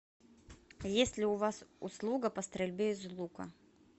есть ли у вас услуга по стрельбе из лука